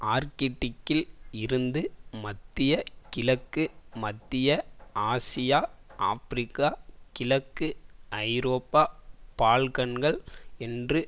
ஆர்க்டிக்கில் இருந்து மத்திய கிழக்கு மத்திய ஆசியா ஆபிரிக்கா கிழக்கு ஐரோப்பா பால்கன்கள் என்று